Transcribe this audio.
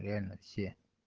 реально все